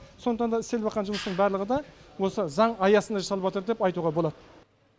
сондықтан да жұмыстың барлығы да осы заң аясында деп айтуға болады